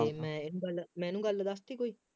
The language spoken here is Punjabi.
ਮੈਂ ਇਹਨੂੰ ਗੱਲ ਮੈਂ ਇਹਨੂੰ ਗੱਲ ਦੱਸ ਤੀ ਕੋਈ